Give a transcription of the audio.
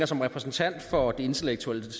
som repræsentant for det intellektuelle